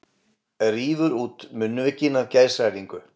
Rífur út munnvikin af geðshræringu.